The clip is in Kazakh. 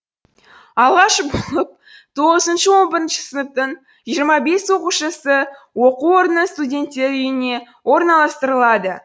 алғаш болып тоғызыншы он бірінші сыныптың жиырма бес оқушысы оқу орнының студенттер үйіне орналастырылады